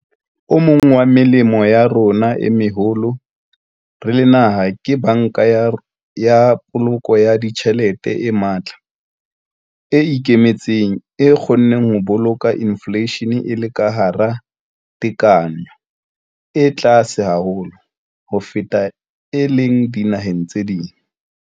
O mong wa melemo ya rona e meholo re le naha ke Banka ya Poloko ya Ditjhelete e matla, e ikemetseng, e kgonneng ho boloka infleishene e le ka hara tekanyo e tlase haholo ho feta e leng dinaheng tse ding.